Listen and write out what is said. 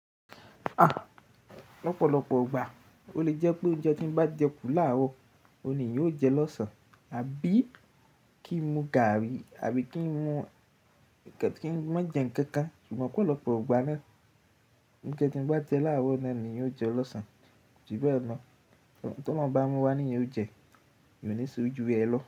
À, lọ́pọ̀lọpọ̀ igbà o le jẹ́ pé oúnjẹ tí mo bá jẹ kù láàárọ̀, òní eyan o jẹ lọ́sàn-án àbí kí n mu gààrí àbí kí n mú kí n má jẹ nkankan. Ṣùgbọ́n opọ̀ lọ́pọ̀ igbà náà, oúnjẹ tí mo bá jẹ láàárọ̀ náà ni n o jẹ lọ́sàn-án. Ṣùgbọ́n emo ohun t'ólorun bá mu wá nìyan ó jẹ, eyan ò ní ṣe jú ra ẹ lọ.